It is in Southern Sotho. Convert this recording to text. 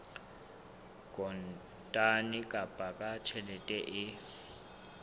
kontane kapa ka tjheke e